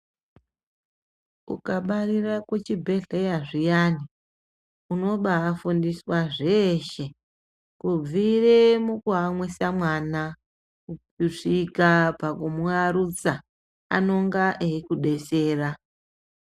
Ukabarira kuchibhedhleya zviyani unobafundiswa zveshe kubvira pakumuyamwisa mwana kusvika pakumuyarutsa anonga eikudetsera .